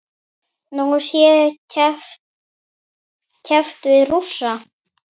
Nú sé keppt við Rússa.